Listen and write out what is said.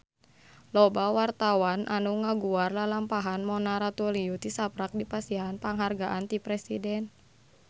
Loba wartawan anu ngaguar lalampahan Mona Ratuliu tisaprak dipasihan panghargaan ti Presiden